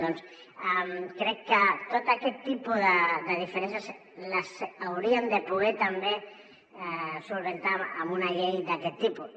doncs crec que tot aquest tipus de diferències les hauríem de poder també solucionar amb una llei d’aquest tipus